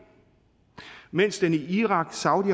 mens den i irak saudi